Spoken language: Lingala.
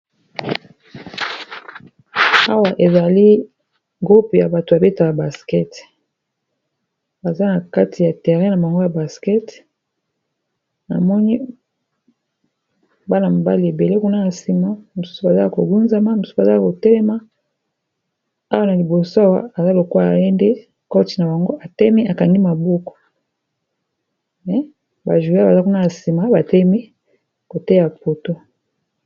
Awa ezali groupe ya bato babetaka basket baza na kati ya terrein na bango ya baskete na moni bana-mobali ebele kuna na nsima mosusu bazala kogunzama mosusu bazala koteema awa na liboso awa aza lokwa aye nde koti na bango atemi akangi mabuku bajoue baza kuna na nsima batemi koteya poto